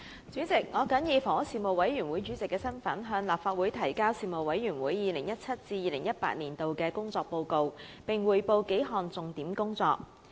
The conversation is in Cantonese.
主席，我謹以房屋事務委員會主席的身份，向立法會提交事務委員會 2017-2018 年度的工作報告，並匯報數項重點工作。